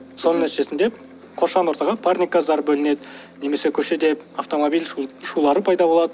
соның нәтижесінде қоршаған ортаға парник газдар бөлінеді немесе көшеде автомобиль шулары пайда болады